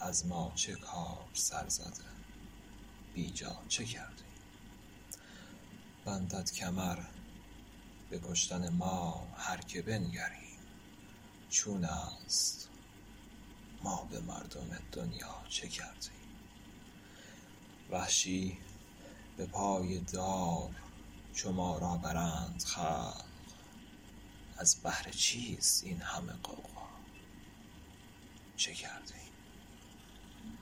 از ما چه کار سر زده بی جا چه کرده ایم بندد کمر به کشتن ما هرکه بنگریم چون است ما به مردم دنیا چه کرده ایم وحشی به پای دار چو ما را برند خلق از بهر چیست این همه غوغا چه کرده ایم